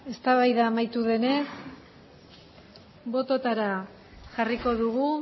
eztabaida amaitu denez bototara jarriko dugu